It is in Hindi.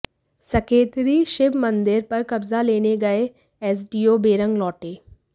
सकेतड़ी शिव मंदिर पर कब्जा लेने गये एसडीओ बेरंग लौटे